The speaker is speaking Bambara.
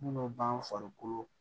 Munnu b'an farikolo